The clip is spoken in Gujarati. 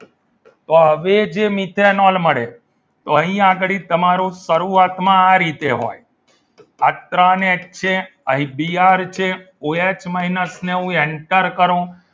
તો હવે જે મિથેનોલ મળે અહીં આગળી તમારું શરૂઆતમાં આ રીતે હોય આ ત્રણ એચ છે આ બી આર છે ઓએચ માઇનસ ને હું enter કરું